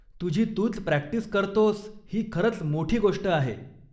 तुझी तूच प्रॅक्टिस करतोस ही खरंच मोठी गोष्ट आहे.